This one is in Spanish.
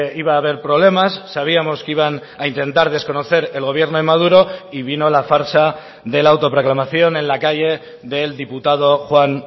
iba a haber problemas sabíamos que iban a intentar desconocer el gobierno de maduro y vino la farsa de la autoproclamación en la calle del diputado juan